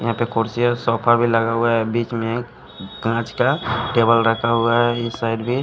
यहां पर कुर्सी और सोफा भी लगा हुआ है बीच में एक कांच का टेबल रखा हुआ है इस साइड भी--